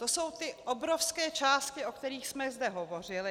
To jsou ty obrovské částky, o kterých jsme zde hovořili.